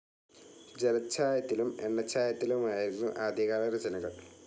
ജലച്ചായത്തിലും എണ്ണച്ചായത്തിലുമായിരുന്നു ആദ്യകാല രചനകൾ.